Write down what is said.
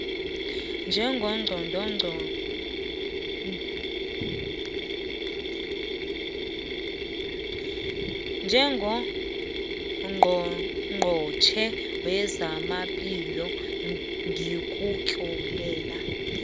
njengongqongqotjhe wezamaphilo ngikutlolela